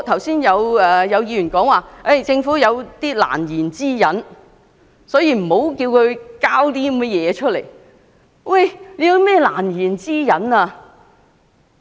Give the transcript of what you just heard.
剛才有議員指政府有難言之隱，所以無須作出交代。